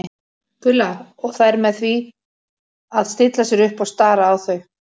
Gulla og þær með því að stilla sér upp og stara á þau.